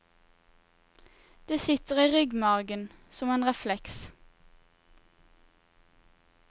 Det sitter i ryggmargen, som en refleks.